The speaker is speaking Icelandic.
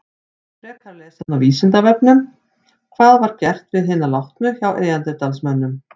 Frekara lesefni á Vísindavefnum: Hvað var gert við hina látnu hjá neanderdalsmönnum?